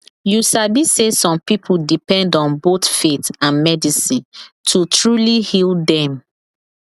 you sabi say some people depend on both faith and medicine to truly heal them